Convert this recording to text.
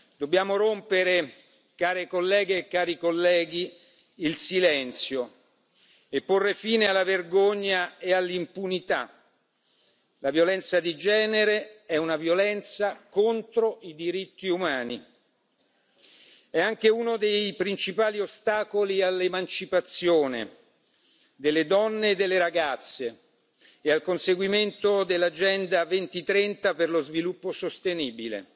Dobbiamo rompere, care colleghe e cari colleghi, il silenzio e porre fine alla vergogna e all'impunità. La violenza di genere è una violenza contro i diritti umani. È anche uno dei principali ostacoli all'emancipazione delle donne e delle ragazze e al conseguimento dell'agenda 2030 per lo sviluppo sostenibile.